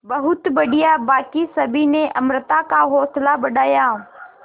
बहुत बढ़िया बाकी सभी ने अमृता का हौसला बढ़ाया